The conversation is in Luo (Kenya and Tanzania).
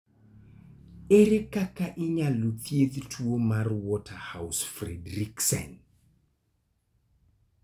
Ere kaka inyalo thiedh tuwo mar Waterhouse Friderichsen?